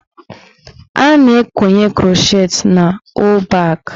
A na-ekonye krọchet n' ọ́ọ̀ bak.